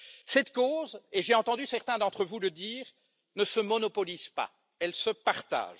Cette cause et j'ai entendu certains d'entre vous le dire ne se monopolise pas, elle se partage.